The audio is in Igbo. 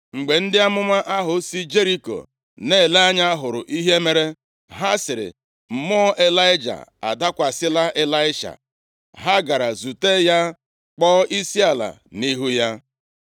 Mgbe ndị amụma ahụ si Jeriko nʼele anya, hụrụ ihe mere, ha sịrị, “Mmụọ Ịlaịja adakwasịla Ịlaisha.” Ha gara zute ya, kpọọ isiala nʼihu ya.